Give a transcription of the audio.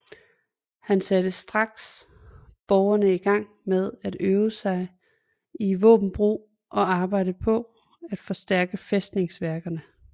Han satte strax Borgerne i Gang med at øve sig i Vaabenbrug og arbejde paa at forstærke Fæstningsværkerne